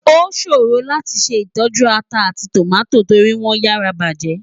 Oṣórò láti ṣé itòjú átà áti tómátó tóri wòn yàrá bájè.